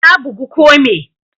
Ka bugu ko me?